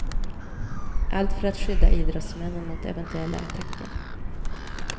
Allt för att skydda idrottsmännen mot eventuella attacker.